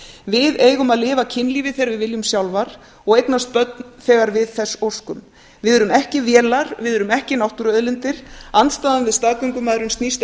við eigum að lifa kynlífi þegar við viljum sjálfar og eignast börn þegar við þess óskum við erum ekki vélar við erum ekki náttúruauðlindir andstaðan við staðgöngumæðrun snýst